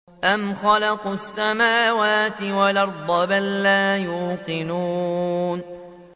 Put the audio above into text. أَمْ خَلَقُوا السَّمَاوَاتِ وَالْأَرْضَ ۚ بَل لَّا يُوقِنُونَ